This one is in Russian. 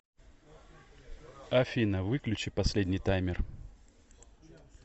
афина выключи последний таймер